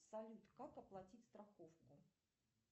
салют как оплатить страховку